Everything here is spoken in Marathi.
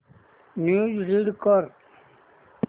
न्यूज रीड कर